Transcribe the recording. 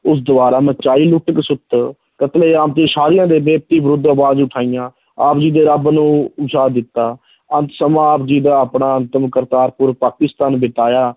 ਉਸ ਦੁਆਰਾ ਮਚਾਈ ਲੁੱਟ ਖਸੁੱਟ ਕਤਲੇਆਮ ਤੇ ਵਿਰੁੱਧ ਅਵਾਜ਼ ਉਠਾਈਆਂ, ਆਪ ਜੀ ਦੇ ਰੱਬ ਨੂੰ ਦਿੱਤਾ, ਅੰਤ ਸਮਾਂ ਆਪ ਜੀ ਦਾ ਆਪਣਾ ਅੰਤਮ ਕਰਤਾਰਪੁਰ ਪਾਕਿਸਤਾਨ ਬਿਤਾਇਆ